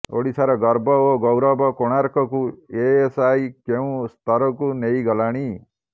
ଓଡ଼ିଶାର ଗର୍ବ ଓ ଗୌରବ େକାଣାର୍କକୁ ଏଏସ୍ଆଇ େକଉଁ ସ୍ତରକୁ େନଇଗଲାଣି